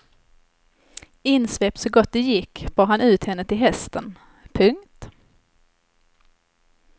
Insvept så gott det gick bar han ut henne till hästen. punkt